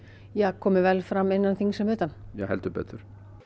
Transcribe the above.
komi vel fram innan þings sem utan já heldur betur